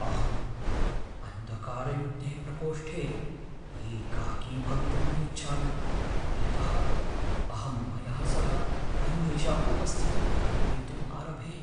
अहम् अन्धकारयुक्ते प्रकोष्ठे एकाकी भवितुम् न इच्छामि यतः अहं मया सह अन्येषाम् उपस्थितिं कल्पयितुं आरभे।